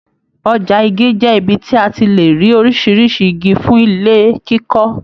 Ọja Igi jẹ ibi tí a tí le rí oríṣiríṣi Igi fún ilé kíkọ.